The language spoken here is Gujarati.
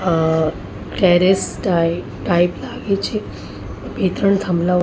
અહ ટેરેસ ટાઈપ ટાઈપ લાગે છે. બે ત્રણ થાંભલાઓ--